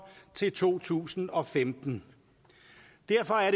til to tusind og femten derfor er